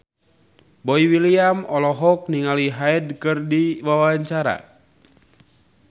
Boy William olohok ningali Hyde keur diwawancara